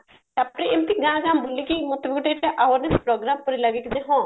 ତାପରେ ଏମତି ଗାଁ ଗାଁ ବୁଲିକି ଗୋଟେ awareness program ପରି ଲାଗେ କିନ୍ତୁ ହଁ